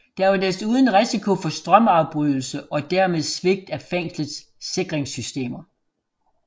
Der var desuden risiko for strømafbrydelse og dermed svigt af fængslets sikringssystemer